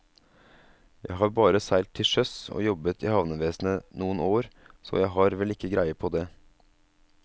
Jeg har bare seilt til sjøs og jobbet i havnevesenet noen år, så jeg har vel ikke greie på det.